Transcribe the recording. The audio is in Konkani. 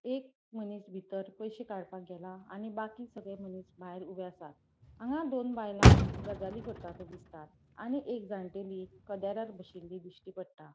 एक मनिस बितर पयशे काडपाक गेला आणि बाकी सगळे मनिस भायर ऊबे असात हांगा दोन बायला गजाली करता ते दिसतात आणि एक जाणटेली कदेरार बशीली दिश्टी पट्टा.